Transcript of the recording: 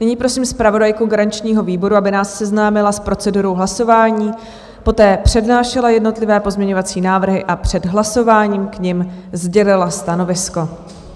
Nyní prosím zpravodajku garančního výboru, aby nás seznámila s procedurou hlasování, poté přednášela jednotlivé pozměňovací návrhy a před hlasováním k nim sdělila stanovisko.